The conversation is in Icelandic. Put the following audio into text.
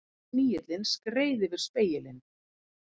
Snigillinn skreið yfir spegilinn.